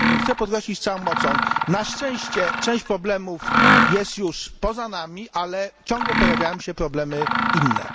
Bo chcę podkreślić z całą mocą na szczęście część problemów jest już poza nami, ale ciągle pojawiają się problemy inne.